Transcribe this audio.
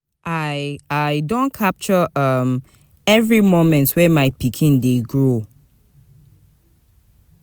I I don capture um every moment wey my pikin dey grow.